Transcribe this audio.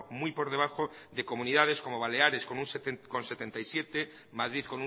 muy por debajo de comunidades como baleares con un setenta y siete madrid